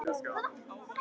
Sú kona er ekki tigin.